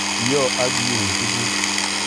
Iyo ak iun tukuk